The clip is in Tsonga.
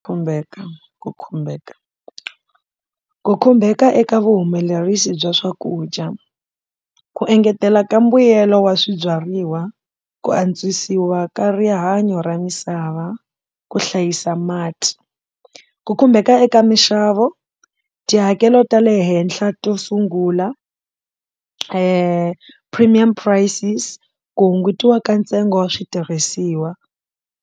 Khumbeka ku khumbeka ku khumbeka eka vuhumelerisi bya swakudya ku engetela ka mbuyelo wa swibyariwa ku antswisiwa ka rihanyo ra misava ku hlayisa mati ku khumbeka eka minxavo tihakelo ta le henhla to sungula premium prices ku hungutiwa ka ntsengo wa switirhisiwa.